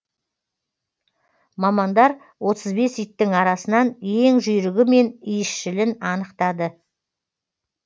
мамандар отыз бес иттің арасынан ең жүйрігі мен иісшілін анықтады